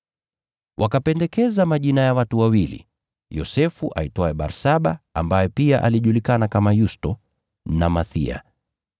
Wakapendekeza majina ya watu wawili: Yosefu, aitwaye Barsaba (ambaye pia alijulikana kama Yusto) na Mathiya.